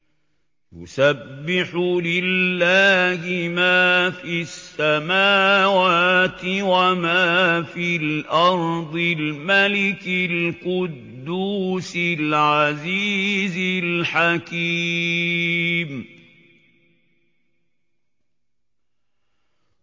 يُسَبِّحُ لِلَّهِ مَا فِي السَّمَاوَاتِ وَمَا فِي الْأَرْضِ الْمَلِكِ الْقُدُّوسِ الْعَزِيزِ الْحَكِيمِ